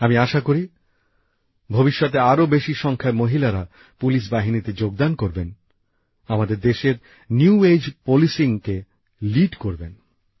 আমি আশা করি ভবিষ্যতে আরো বেশি সংখ্যায় মহিলারা পুলিশ বাহিনীতে যোগদান করবেন আমাদের দেশের নতুন যুগকে নেতৃত্ব করবেন